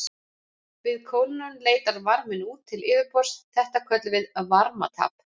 Við kólnun leitar varminn út til yfirborðs, þetta köllum við varmatap.